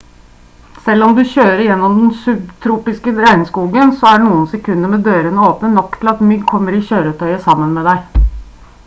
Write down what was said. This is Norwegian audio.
selv om du kjører gjennom den subtropiske regnskogen så er noen sekunder med dørene åpne nok tid til at mygg kommer i kjøretøyet sammen med deg